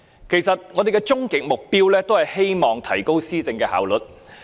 其實，我們的終極目標，都是希望提高施政效率。